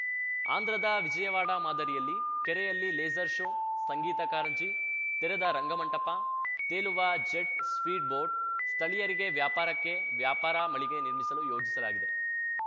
ಆಂಧ್ರದ ವಿಜಯವಾಡ ಮಾದರಿಯಲ್ಲಿ ಕೆರೆಯಲ್ಲಿ ಲೇಸರ್‌ ಶೋ ಸಂಗೀತ ಕಾರಂಜಿ ತೆರೆದ ರಂಗ ಮಂಟಪ ತೇಲುವ ಜೆಟ್‌ ಸ್ಪೀಡ್‌ ಬೋಟ್‌ ಸ್ಥಳೀಯರಿಗೆ ವ್ಯಾಪಾರಕ್ಕೆ ವ್ಯಾಪಾರ ಮಳಿಗೆ ನಿರ್ಮಿಸಲು ಯೋಜಿಸಲಾಗಿದೆ